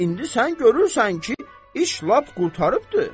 İndi sən görürsən ki, iş lap qurtarıbdı.